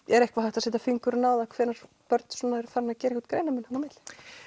er eitthvað hægt að setja fingurinn á það hvenær börn eru farin að gera greinarmun á milli